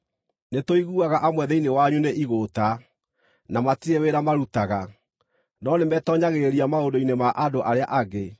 Nĩtũiguaga amwe thĩinĩ wanyu nĩ igũũta, na matirĩ wĩra marutaga, no nĩmetoonyagĩrĩria maũndũ-inĩ ma andũ arĩa angĩ.